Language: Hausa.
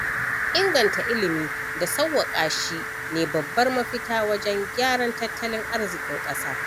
Inganta ilimi da sauwaƙa shi ne babar mafita wajen gyaran tattalin azriƙin ƙasa.